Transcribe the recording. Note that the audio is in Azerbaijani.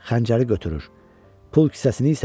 Xəncəri götürür, pul kisəsini isə yox.